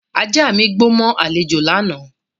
Ajá mi gbó mọ́ àlejò lánàá